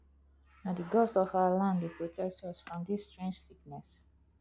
na di gods of our land dey protect us from dis strange sickness